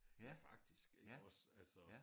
Ja faktisk iggås altså